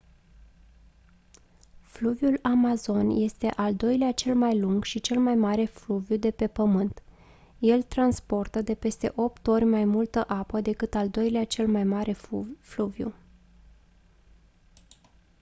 fluviul amazon este al doilea cel mai lung și cel mai mare fluviu de pe pământ el transportă de peste 8 ori mai multă apă decât al doilea cel mai mare fluviu